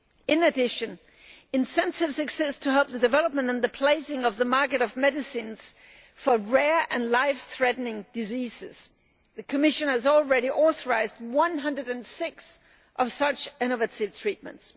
In addition, in terms of success in helping the development and the placing on the market of medicines for rare and life threatening diseases, the Commission has already authorised 106 of such innovative treatments.